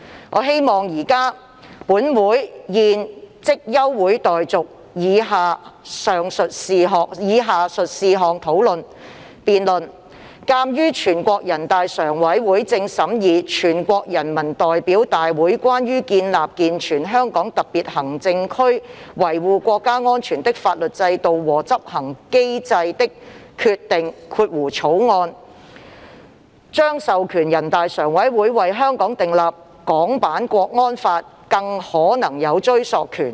我希望本會現即休會待續，以就下述事項進行辯論：鑒於全國人大正審議《全國人民代表大會關於建立健全香港特別行政區維護國家安全的法律制度和執行機制的決定》》")，將授權全國人大常務委員會為香港訂立港區國安法，更可能有追溯權。